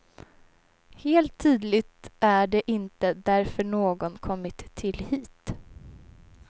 Helt tydligt är det inte därför någon kommit till hit.